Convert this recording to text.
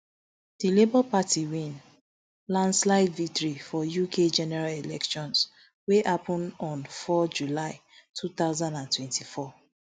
di labour party win landslide victory for uk general election wey happun on four july two thousand and twenty-four